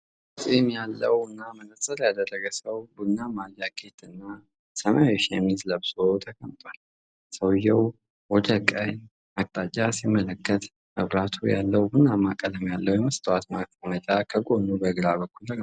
ጥቁር ፂም ያለውና መነጽር ያደረገ ሰው ቡናማ ጃኬት እና ሰማያዊ ሸሚዝ ለብሶ ተቀምጧል። ሰውዬው ወደ ቀኝ አቅጣጫ ሲመለከት፣ መብራት ያለው ቡናማ ቀለም ያለው የመስታወት ማስቀመጫ ከጎኑ በግራ በኩል ተቀምጧል።